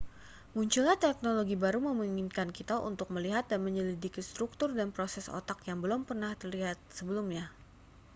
munculnya teknologi baru memungkinkan kita untuk melihat dan menyelidiki struktur dan proses otak yang belum pernah terlihat sebelumnya